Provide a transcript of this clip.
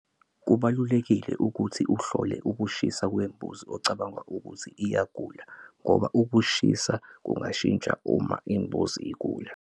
Kubalulekile ukuthi uhlola ukushisa kwembuzi ocabanga ukuthi iyagula ngoba ukushisa kungashintsha uma imbuzi igula.